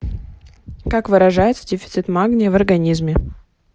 как выражается дефицит магния в организме